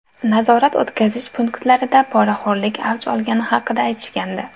Nazorat-o‘tkazish punktlarida poraxo‘rlik avj olgani haqida aytishgandi.